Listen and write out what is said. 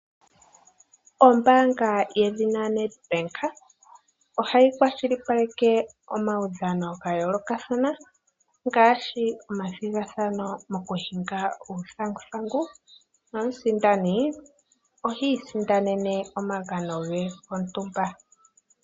Ombanga yedhina lyoNedbank ohayi kwashilipaleke omaudhano gontumba ngaashi omathigathano gokushinga uuthanguthangu nomusindani ohi isindanene omagano ge gontumba.